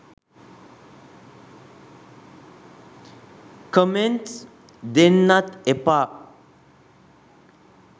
comments දෙන්නත් එපා